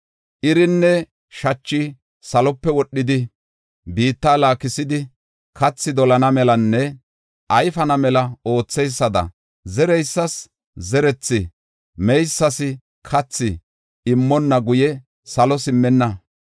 Irinne shachi salope wodhidi, biitta laakisidi, kathi dolana melanne ayfana mela ootheysada, zereysas zerethi, meysas kathi immonna guye salo simmenna.